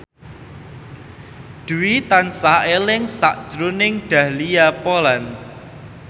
Dwi tansah eling sakjroning Dahlia Poland